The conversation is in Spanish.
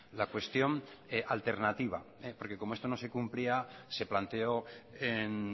la cuestión alternativa porque como esto no se cumplía se planteó en